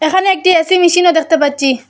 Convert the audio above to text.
এখানে একটি এ_সি মেশিনও দেখতে পাচ্চি ।